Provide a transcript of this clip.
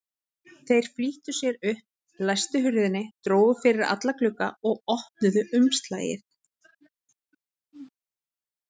Þeir flýttu sér upp, læstu hurðinni, drógu fyrir alla glugga og opnuðu umslagið.